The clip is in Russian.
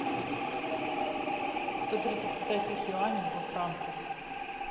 сто тридцать китайских юаней во франках